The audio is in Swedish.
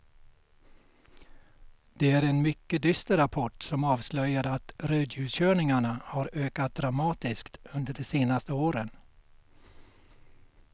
Det är en mycket dyster rapport som avslöjar att rödljuskörningarna har ökat dramatiskt under de senaste åren.